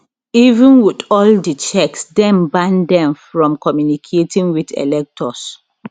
even wit all di checks dem ban dem from communicating wit electors